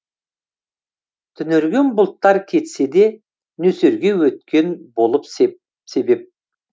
түнерген бұлттар кетсе де нөсерге өткен болып себеп